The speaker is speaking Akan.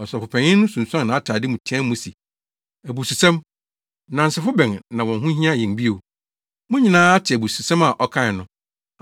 Ɔsɔfopanyin no sunsuan nʼatade mu teɛɛ mu se, “Abususɛm! Nnansefo bɛn na wɔn ho hia yɛn bio? Mo nyinaa ate abususɛm a ɔkae no!